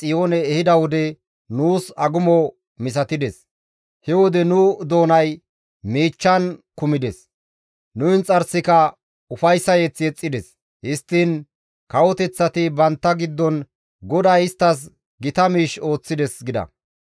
He wode nu doonay miichchan kumides; nu inxarsika ufayssa mazamure yexxides; histtiin kawoteththati bantta giddon, «GODAY isttas gita miish ooththides» gida.